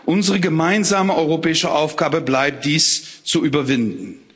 Unsere gemeinsame europäische Aufgabe bleibt es, dies zu überwinden.